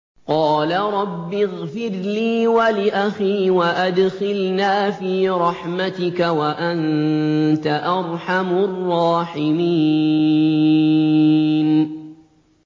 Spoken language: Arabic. قَالَ رَبِّ اغْفِرْ لِي وَلِأَخِي وَأَدْخِلْنَا فِي رَحْمَتِكَ ۖ وَأَنتَ أَرْحَمُ الرَّاحِمِينَ